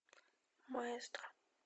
маэстро